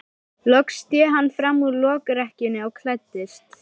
Loks sté hann fram úr lokrekkjunni og klæddist.